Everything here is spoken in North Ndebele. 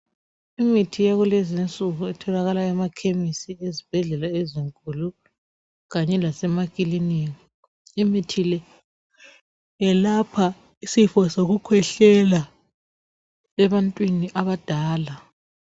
Imithi yakulezi insuku etholakala emakhemesi ezibhedlela ezinkulu kanye lasemakilinika. Imithi le yelapha isifo sokukhwehlela ebantwini abadala.